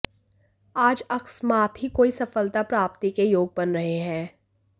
आज अकस्मात ही कोई सफलता प्राप्ति के योग बन रहे हैं